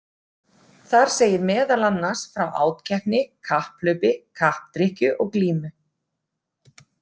Þar segir meðal annars frá átkeppni, kapphlaupi, kappdrykkju og glímu.